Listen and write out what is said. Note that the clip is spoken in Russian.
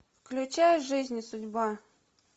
включай жизнь и судьба